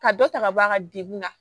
Ka dɔ ta ka bɔ a ka degun na